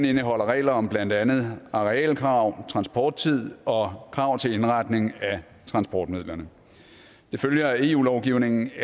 indeholder regler om blandt andet arealkrav transporttid og krav til indretning af transportmidlerne det følger af eu lovgivningen at